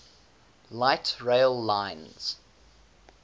light rail lines